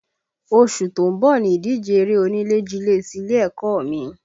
Oṣù tó ń bọ̀ ni ìdíje eré onílé jilé ti ilé ẹ̀kọ́ ọ mi